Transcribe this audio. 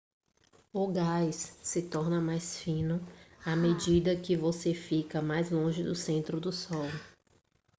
o gás se torna mais fino à medida que você fica mais longe do centro do sol